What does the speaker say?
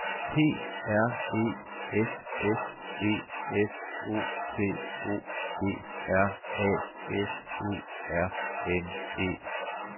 P R E S S E F O T O G R A F E R N E